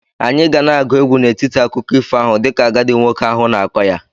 Anyị ga na-agụ egwu n'etiti akụkọ ifo ahụ dịka agadi nwoke ahụ na-akọ ya.